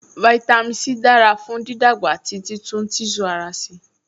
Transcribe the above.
Fáítámì C dára fún dídàgbà àti títún tíṣù ara ṣe